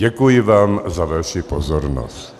Děkuji vám za vaši pozornost.